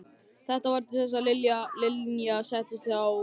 Þetta varð til þess að Linja settist að hjá Tóta.